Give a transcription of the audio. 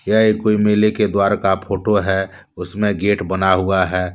यह एक कोई मेले के द्वारा का फोटो है उसमें गेट बना हुआ है।